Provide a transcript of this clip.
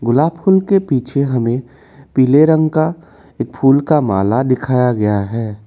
गुलाब फूल के पीछे हमें पीले रंग का फूल का माला दिखाया गया है।